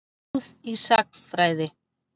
Góð í sagnfræði.